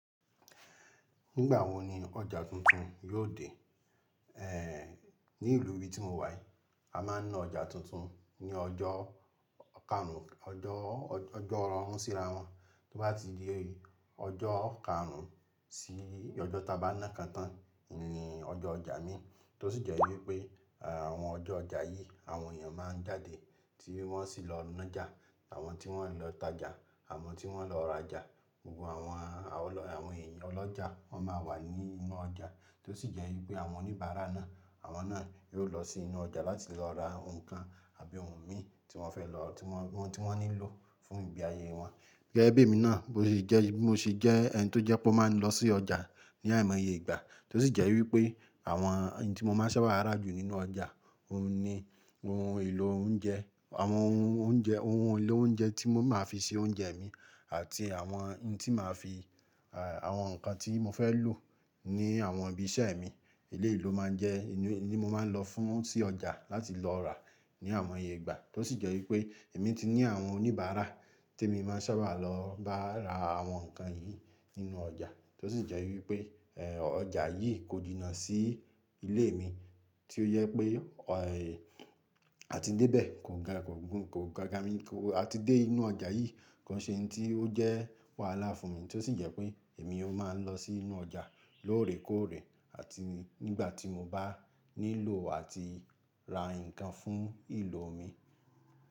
Nígbà wo ni ọjà tuntun yóò dé? Ehn, ní ìlú ibi tí mo wà yìí, a máa ń ná ọjà tuntun ní ọjọ́ karùn-ún, ọjọ́, ọjọ́ ọ̀rọ̀ run ń síra wọn. Tó bá ti di ọjọ́ karùn-ún sí ọjọ́ taba na ikan tán, ni ọjọ́ ọjà mi. Tó sì jẹ́ wípé àwọn ọjọ́ ọjà yìí àwọn èèyàn máa ń jáde tí wọ́n sì lọ nájà, àwọn tí wọ́n ń lọ tajà, àwọn tí wọ́n lọ rajà. Gbogbo àwọn, àwọn lọ-- àwọn èèyàn ọlọ́jà wọ́n máa wà ní inú ọjà. Tó sì jẹ́ wípé àwọn oníbàárà náà, àwọn náà yóò lọ sí inú ọjà láti lọ ra nǹkan àbí ohun mí tí wọ́n fẹ́ lọ, tí wọ́n, ohun tí wọ́n nílò fún ìgbé ayé wọn. Gẹ́gẹ́ bí èmi náà, bó ti jẹ́, bó ṣe jẹ́ ẹni tó jẹ pó máa ń lọ sí ọjà ní àìmọye ìgbà. Tó sì jẹ́ wípé àwọn ohun tí mo máa ń sábà ra jù nínú ọjà, òun ni ohun èlò oúnjẹ, àwọn ohun oúnjẹ, ohun èlò oúnjẹ tí mo máa fi ṣe oúnjẹ mi àti àwọn ohun tí màá fi, àwọn nǹkan tí mo fẹ́ lò ní àwọn ibi iṣẹ́ mi. Iléyii lo máa ń jẹ́, ìlú ni mo máa ń lọ fún sí ọjà láti lọ rà ní àwọn ìgbà. Tó sì jẹ́ wípé èmi ti ní àwọn oníbàárà tí èmi máa ń sábà lọ bá ra àwọn nǹkan yìí nínú ọjà. Tó sì jẹ́ wípé, ehn, ọjà yìí kò jinnà sí ilé mi tí ó jẹ pé, òh, a ti dé bẹ̀ kò ga, kò gùn, kò ga ga mi kò-- a ti dé inú ọjà yìí, ko n ṣe ohun tí ó jẹ́ wàhálà fún mi. Tó sì jẹ́ pé èmi ó máa ń lọ sí inú ọjà lóòrèkóòrè àti nígbà tí mo bá nílò àti ra nǹkan fún ìlò mi.